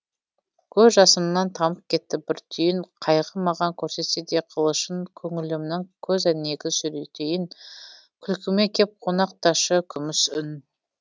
көз жасымнан тамып кетті бір түйін қайғы маған көрсетсе де қылышын көңілімнің көзәйнегін сүртейін күлкіме кеп қонақташы күміс үн